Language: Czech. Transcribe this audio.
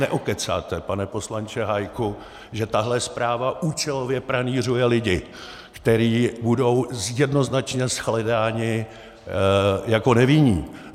Neokecáte, pane poslanče Hájku, že tahle zpráva účelově pranýřuje lidi, kteří budou jednoznačně shledáni jako nevinní.